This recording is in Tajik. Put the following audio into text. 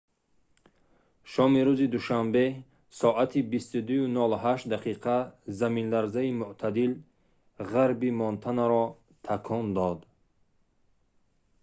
шоми рӯзи душанбе соати 22:08 дақиқа заминларзаи мӯътадил ғарби монтанаро такон дод